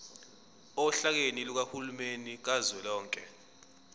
ohlakeni lukahulumeni kazwelonke